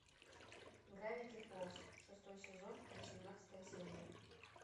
гравити фолз шестой сезон восемнадцатая серия